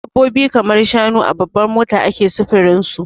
Dabbobi kamar shanu a babbar mota ake sufurin su.